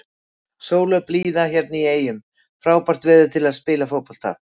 Sól og blíða hérna í eyjum, frábært veður til að spila fótbolta.